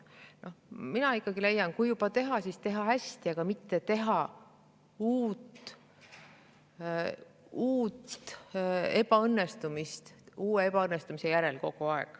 Mina leian, et kui juba teha, siis võiks teha ikkagi hästi, mitte nii, et kogu aeg on uus ebaõnnestumine teise ebaõnnestumise järel.